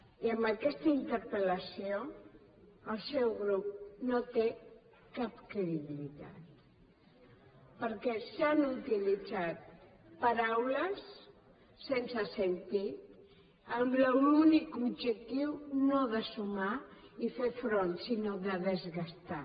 i amb aquesta interpel·lació el seu grup no té cap credibilitat perquè s’han utilitzat paraules sense sentit amb l’únic objectiu no de sumar i fer front sinó de desgastar